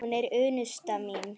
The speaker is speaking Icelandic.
Hún er unnusta mín!